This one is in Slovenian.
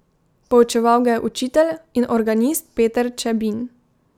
Poučeval ga je učitelj in organist Peter Čebin.